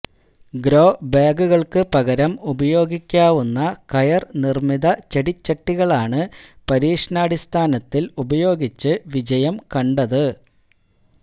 ഗ്രോബാഗുകള്ക്ക് പകരം ഉപയോഗിക്കാവുന്ന കയര് നിര്മിത ചെടിച്ചട്ടികളാണ് പരീക്ഷണാടിസ്ഥാനത്തില് ഉപയോഗിച്ച് വിജയം കണ്ടത്